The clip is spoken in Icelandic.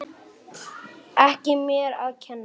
Ekki mér að kenna!